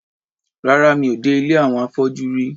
Rárá, mi ò dé ilé àwọn afọ́jú rí.